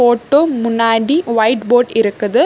Photo முன்னாடி white board இருக்குது.